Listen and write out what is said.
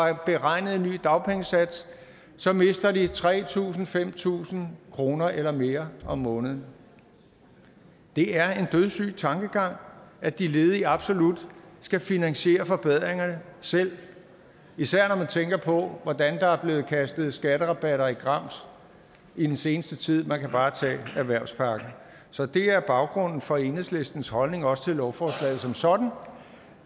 have beregnet en ny dagpengesats så mister tre tusind kr fem tusind kroner eller mere om måneden det er en dødssyg tankegang at de ledige absolut skal finansiere forbedringerne selv især når man tænker på hvordan der er blevet kastet skatterabatter i grams i den seneste tid man kan bare tage erhvervspakken så det er baggrunden for enhedslistens holdning også til lovforslaget som sådan